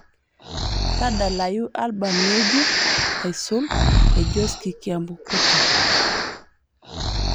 tadalayu albam ng'ejuk aisul e josky kiambukuta